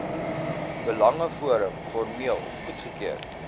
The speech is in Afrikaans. belangeforum formeel goedgekeur